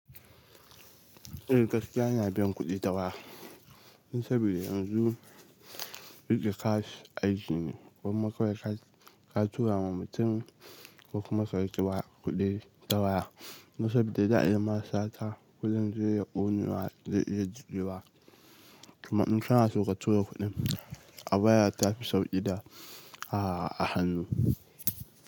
Eh gaskiya ina bin kudi ta waya, saboda yanzu rike cash aiji ne, gwamma kawai ka tura ma mutum ko kuma ka riƙewa kuɗi dawa. Kuma saboda za a yi ma sata kuɗin zai iya ƙonewa zai iya jigewa. Kuma in kana so ka tura kuɗin a baya ta fi sauƙi da a hannu.